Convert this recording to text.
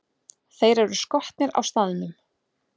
Þeir eru skotnir á staðnum!